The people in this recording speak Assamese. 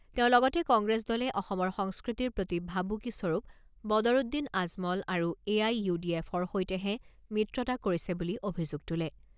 তেওঁ লগতে কংগ্ৰেছ দলে অসমৰ সংস্কৃতিৰ প্ৰতি ভাবুকি স্বৰূপ বদৰুদ্দিন আজমল আৰু এ আই ইউ ডি এফৰ সৈতেহে মিত্ৰতা কৰিছে বুলি অভিযোগ তোলে।